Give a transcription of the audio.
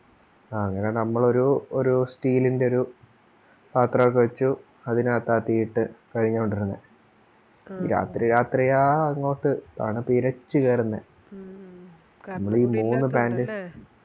അങ്ങനെ നമ്മളൊരു ഒരു Steal ൻറെ ഒരു പാത്രോക്കെ വെച്ചു അതിനാത്ത തീയിട്ട് കഴിഞ്ഞോണ്ടിരുന്നേ രാത്രി രാത്രിയാ അങ്ങോട്ട് തണുപ്പിരച്ച് കേറുന്നേ നമ്മളീ മൂന്ന് Pant